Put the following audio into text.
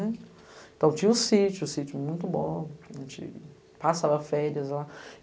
Então tinha o sítio, sítio muito bom, a gente passava férias lá.